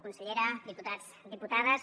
consellera diputats diputades